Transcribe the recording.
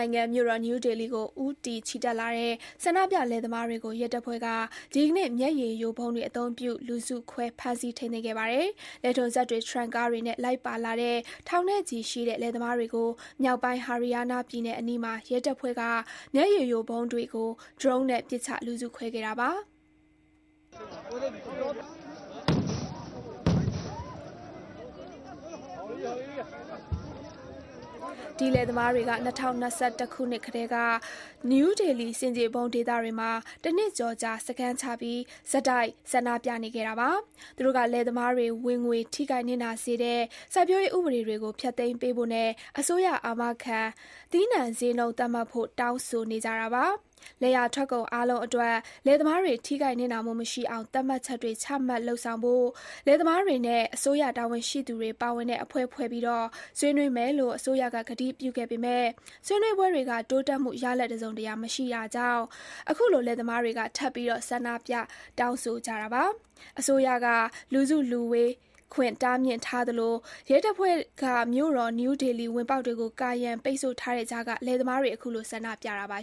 နိုင်ငံ မြို့တော်နယူးဒေလီကို ဦးတည်ချီတက်လာတဲ့ ဆန္ဒပြလယ်သမားတွေကို ရဲတပ်ဖွဲ့က ဒီကနေ့ မျက်ရည်ယိုဗုံးတွေအသုံးပြု လူစုခွဲ ဖမ်းဆီး ထိန်းသိမ်းခဲ့ပါတယ်။ လယ်ထွန်စက်တွေ၊ ထရပ်ကားတွေနဲ့ လိုက်ပါလာတဲ့ ထောင်နဲ့ချီတဲ့ လယ်သမားတွေကို မြောက်ပိုင်း Haryana ပြည်နယ်အနီးမှာ ရဲတပ်ဖွဲ့က မျက်ရည်ယိုဗုံးတွေကို ဒရုန်းနဲ့ပစ်ချ လူစုခွဲခဲ့တာပါ။ ဒီလယ်သမားတွေက ၂၀၂၁ ခုနှစ်ကတည်းက နယူးဒေလီ ဆင်ခြေဖုံးဒေသတွေမှာ တနှစ်ကျော်ကြာ စခန်းချပြီး ဆက်တိုက် ဆန္ဒပြနေခဲ့တာပါ။ သူတို့က လယ်သမားတွေ ဝင်ငွေထိခိုက်နစ်နာစေတဲ့ စိုက်ပျိုးရေး ဥပဒေတွေကို ဖျက်သိမ်းပေးဖို့နဲ့ အစိုးရအာမခံ သီးနှံဈေးနှုန်း သတ်မှတ်ဖို့ တောင်းဆိုနေကြတာပါ။ လယ်ယာထွက်ကုန် အားလုံးအတွက် လယ်သမားတွေ ထိခိုက်နစ်နာမှုမရှိအောင် သတ်မှတ်ချက်တွေ ချမှတ်လုပ်ဆောင်ဖို့ လယ်သမားတွေနဲ့ အစိုးရတာဝန်ရှိသူတွေ ပါဝင်တဲ့ အဖွဲ့ဖွဲ့ပြီး ဆွေးနွေးမယ်လို့ အစိုးရက ကတိပြုခဲ့ပေမဲ့ ဆွေးနွေးပွဲတွေက တိုးတက်မှုရလဒ် တစုံတရာ မရတာကြောင့် အခုလို လယ်သမားတွေက ထပ်ပြီး ဆန္ဒပြ တောင်းဆိုကြတာပါ။ အစိုးရက လူစုလူဝေးခွင့်တားမြစ်ထားသလို ရဲတပ်ဖွဲ့က မြို့တော် နယူးဒေလီဝင်ပေါက်တွေကို ကာရံပိတ်ဆို့ထားတဲ့ကြားက လယ်သမားတွေ အခုလို ဆန္ဒပြတာပါ